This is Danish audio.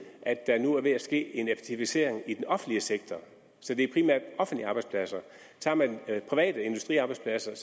at der nu er ved at ske en effektivisering i den offentlige sektor så det er primært offentlige arbejdspladser tager man private industriarbejdspladser er